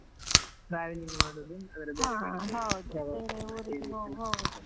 Traveling ಮಾಡುದು ಅದರ .